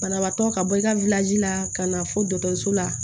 Banabaatɔ ka bɔ i ka la ka na fɔ dɔgɔtɔrɔso la